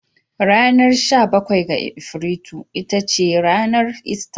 Ranar sha bakwai ga Afrilu ita ce ranar ister.